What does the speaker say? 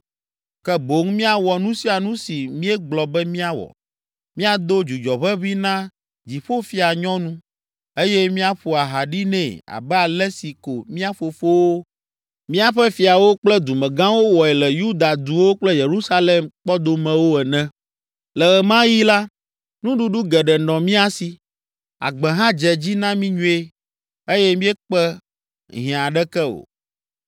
Ke boŋ míawɔ nu sia nu si míegblɔ be míawɔ, míado dzudzɔʋeʋĩ na Dziƒofianyɔnu, eye míaƒo aha ɖi nɛ abe ale si ko mía fofowo, míaƒe fiawo kple dumegãwo wɔe le Yuda duwo kple Yerusalem kpɔdomewo ene. Le ɣe ma ɣi la, nuɖuɖu geɖe nɔ mía si, agbe hã dze dzi na mí nyuie eye míekpe hiã aɖeke o.